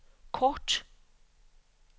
kort